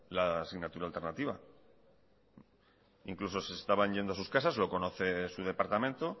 la asignatura alternativa incluso se estaban yendo a sus casas lo conoce su departamento